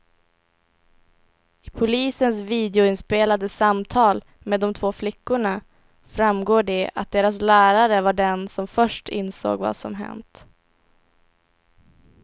I polisens videoinspelade samtal med de två flickorna framgår det att deras lärare var den som först insåg vad som hänt.